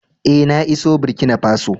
Eh, na iso Burkina Faso.